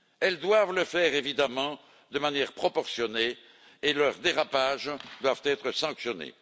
Elles doivent le faire évidemment de manière proportionnée et leurs dérapages doivent être sanctionnés.